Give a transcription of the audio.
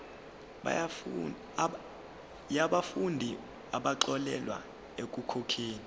yabafundi abaxolelwa ekukhokheni